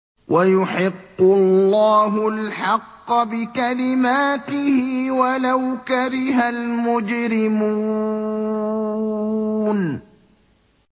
وَيُحِقُّ اللَّهُ الْحَقَّ بِكَلِمَاتِهِ وَلَوْ كَرِهَ الْمُجْرِمُونَ